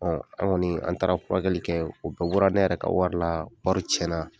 an kɔni an taara furakɛli kɛ u bɛɛ bɛ bɔra ne yɛrɛ ka wari la wari cɛn na.